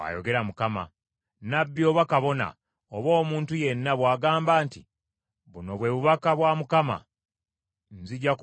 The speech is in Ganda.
Nnabbi, oba kabona oba omuntu yenna bw’agamba nti, ‘Buno bwe bubaka bwa Mukama ,’ Nzija kubonereza omusajja oyo n’ab’omu maka ge.